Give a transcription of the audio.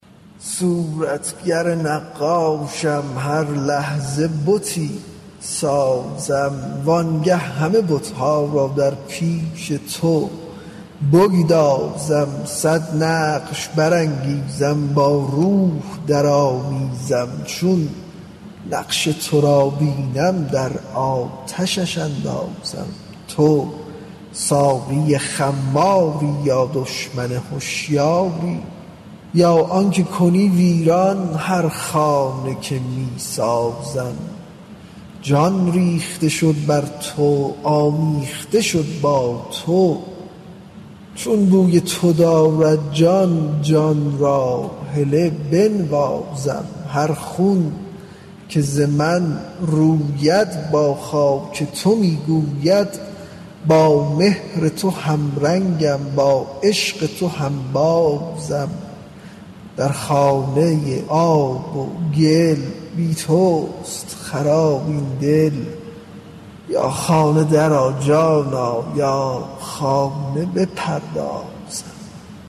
صورتگر نقاشم هر لحظه بتی سازم وانگه همه بت ها را در پیش تو بگدازم صد نقش برانگیزم با روح درآمیزم چون نقش تو را بینم در آتشش اندازم تو ساقی خماری یا دشمن هشیاری یا آنک کنی ویران هر خانه که می سازم جان ریخته شد بر تو آمیخته شد با تو چون بوی تو دارد جان جان را هله بنوازم هر خون که ز من روید با خاک تو می گوید با مهر تو همرنگم با عشق تو هنبازم در خانه آب و گل بی توست خراب این دل یا خانه درآ جانا یا خانه بپردازم